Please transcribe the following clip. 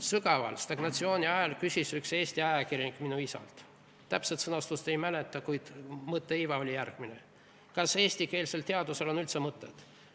Sügava stagnatsiooni ajal küsis üks eesti ajakirjanik minu isalt – täpset sõnastust ei mäleta, aga mõtteiva oli järgmine: "Kas eestikeelsel teadusel on üldse mõtet?